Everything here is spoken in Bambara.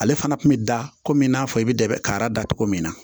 Ale fana kun bɛ da komi n'a fɔ i bɛ da bɛ kara da cogo min na